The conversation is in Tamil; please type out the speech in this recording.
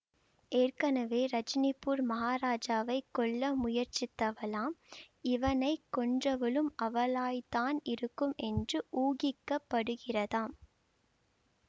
ஏற்கெனவே ரஜினிபூர் மகாராஜாவைக் கொல்ல முயற்சித்தவளாம் இவனை கொன்றவளும் அவளாய்த்தான் இருக்கும் என்று ஊகிக்கப்படுகிறதாம்